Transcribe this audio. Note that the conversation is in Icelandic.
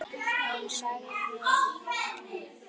Hún sagði við Eyjólf